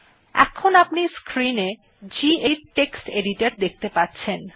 আপনি এখন স্ক্রিন এ গেদিত টেক্সট এডিটর দেখতে পাচ্ছেন